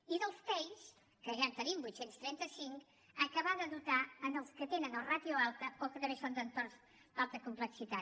i dels tei que ja en tenim vuit cents i trenta cinc acabar de dotar els que tenen o ràtio alta o que també són d’entorns d’alta complexitat